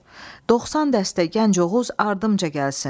90 dəstə gənc Oğuz ardımca gəlsin.